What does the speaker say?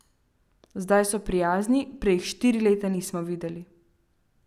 Zdaj so prijazni, prej jih štiri leta nismo videli.